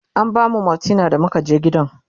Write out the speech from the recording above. an bamu maltina da muka je gidan